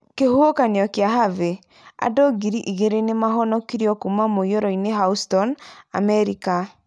kĩhuhũkanio kĩa Harvey: Andũ ngiri igeerĩ nĩ maahonokirio kuuma mũiyũro-inĩ Houston, Amerika.